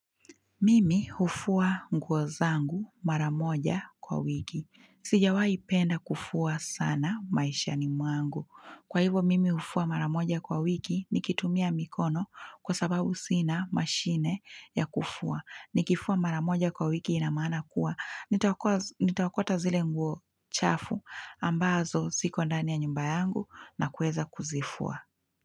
Mimi hufua nguo zangu mara moja kwa wiki. Sijawahipenda kufua sana maishani mwangu. Kwa hivo mimi hufua mara moja kwa wiki nikitumia mikono kwa sababu sina mashine ya kufua. Nikifua mara moja kwa wiki inamaana kuwa. Nitaokota zile nguo chafu ambazo ziko ndani ya nyumba yangu na kuweza kuzifua.